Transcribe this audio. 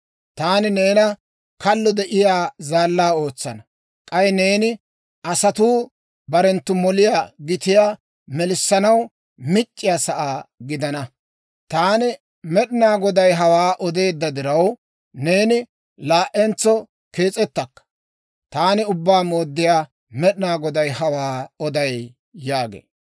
Taani neena kallo de'iyaa zaallaa ootsana; k'ay neeni asatuu barenttu moliyaa gitiyaa melissanaw mic'c'iyaa sa'aa gidana. Taani Med'inaa Goday hawaa odeedda diraw, neeni laa"entso kees'ettakka. Taani Ubbaa Mooddiyaa Med'inaa Goday hawaa oday› yaagee.